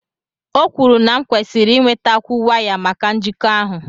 O kwuru na m nkwesiri inwetakwu waya maka njikọ ahụ.